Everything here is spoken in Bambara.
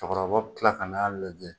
Cɛkɔrɔba bɛ tila ka n'a lajɛ